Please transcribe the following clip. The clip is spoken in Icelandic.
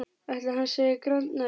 Ætli hann segi grand næst?